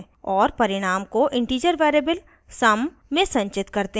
और परिणाम को integer variable sum में संचित करते हैं